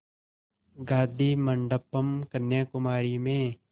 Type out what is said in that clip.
गाधी मंडपम् कन्याकुमारी में